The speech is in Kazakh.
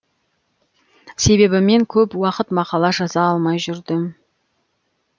себебі мен көп уақыт мақала жаза алмай жүрдім